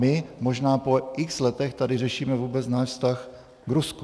My možná po x letech tady řešíme vůbec náš vztah k Rusku.